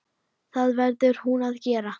Það verður hún að gera.